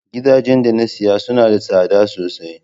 Gidajen da na saya suna da tsada sosai.